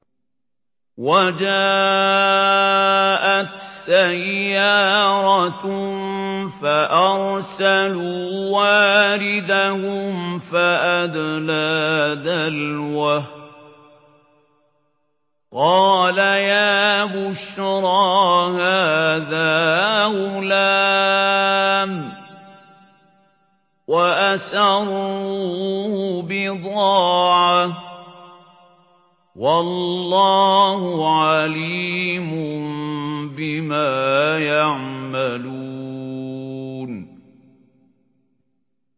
وَجَاءَتْ سَيَّارَةٌ فَأَرْسَلُوا وَارِدَهُمْ فَأَدْلَىٰ دَلْوَهُ ۖ قَالَ يَا بُشْرَىٰ هَٰذَا غُلَامٌ ۚ وَأَسَرُّوهُ بِضَاعَةً ۚ وَاللَّهُ عَلِيمٌ بِمَا يَعْمَلُونَ